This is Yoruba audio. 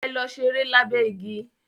Ẹ̀lò sẹ̀rẹ̀ lábé igi.